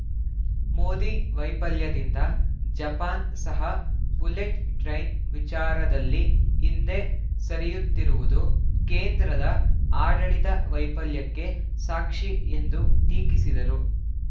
ಮೋದಿ ವೈಫಲ್ಯದಿಂದ ಜಪಾನ್‌ ಸಹ bullet train ವಿಚಾರದಲ್ಲಿ ಹಿಂದೆ ಸರಿಯುತ್ತಿರುವುದು ಕೇಂದ್ರದ ಆಡಳಿತ ವೈಫಲ್ಯಕ್ಕೆ ಸಾಕ್ಷಿ ಎಂದು ಟೀಕಿಸಿದರು